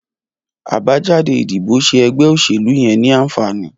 Abàjàdé idibó ṣé ẹgbẹ óṣélú yèn ni ànfàní